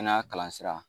Kɛnɛya kalan sira